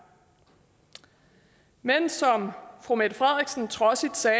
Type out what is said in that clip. men som fru mette frederiksen trodsigt sagde